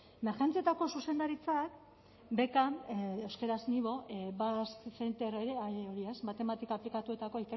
emergentzietako zuzendaritzak bcaman euskaraz basque center hori matematika aplikatuetako